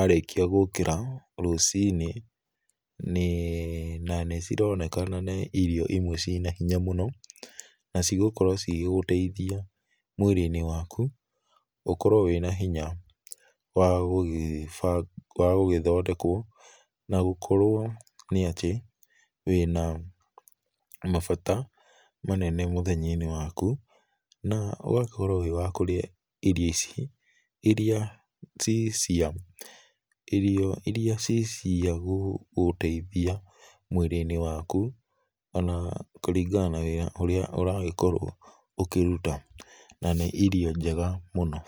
arĩkia gũkĩra rũcinĩ, na nĩcironekana nĩ irio imwe ciĩna hinya mũno, na cigũkorwo cigĩgũteithia mwĩrĩ-inĩ waku, ũkorwo wĩna hinya wa gũgĩbanga, wa gũgĩthondekwo na gũkorwo nĩ atĩ wĩ na mabata manene mũthenya-inĩ waku, na ũgakorwo wĩ wa kũrĩa irio ici, irĩa ci cia, irio irĩa ciagũgũteithia mwĩrĩ-inĩ waku, ona kũringana na wĩra ũrĩa ũragĩkorwo ũkĩruta na nĩ irio njega mũno.